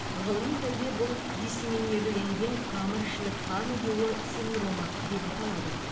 ғылыми тілде бұл диссеминирленген тамырішілік қан ұюы синдромы деп аталады